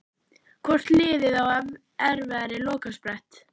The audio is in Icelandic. Hvort liðið á erfiðari lokasprett?